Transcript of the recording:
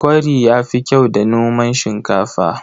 Kwari ya fi kyau da noman shinkafa.